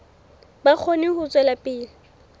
ba kgone ho tswela pele